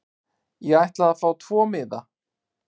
Ég ætla að fá tvo miða.